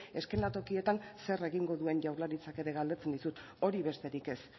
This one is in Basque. eszenatokietan zer egingo duen jaurlaritzak ere galdetzen dizut hori besterik ez